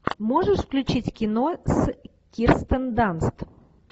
можешь включить кино с кирстен данст